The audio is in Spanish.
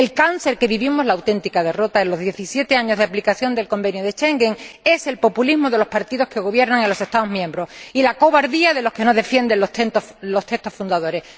El cáncer que vivimos, la auténtica derrota en los diecisiete años de aplicación del Convenio de Schengen es el populismo de los partidos que gobiernan en los Estados miembros y la cobardía de los que no defienden los textos fundadores.